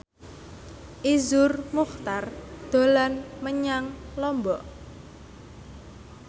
Iszur Muchtar dolan menyang Lombok